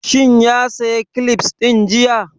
Shin ya saya kilifs ɗin jiya?